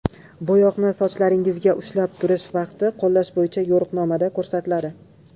Bo‘yoqni sochlaringizda ushlab turish vaqti qo‘llash bo‘yicha yo‘riqnomada ko‘rsatiladi.